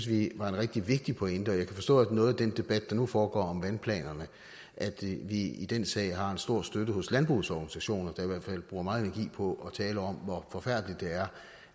vi var en rigtig vigtig pointe og jeg kan forstå noget af den debat der nu foregår om vandplanerne at vi i den sag har stor støtte fra landbrugets organisationer der i hvert fald bruger meget energi på at tale om hvor forfærdeligt det er